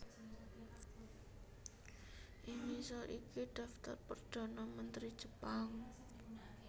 Ing ngisor iki dhaftar perdhana mentri Jepang